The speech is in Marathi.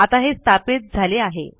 आता हे स्थापित झाले आहे